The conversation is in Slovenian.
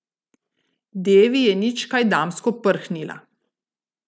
Devi je nič kaj damsko prhnila.